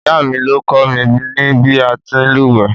Ìyáà mi ló kọ́ mi ní bí a ti ń lùwẹ̀.